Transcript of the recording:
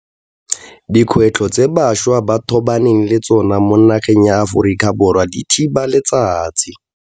Dikgwetlho tse bašwa ba tobaneng le tsona mo nageng ya Aforika Borwa di thiba letsatsi.